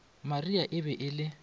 maria e be e le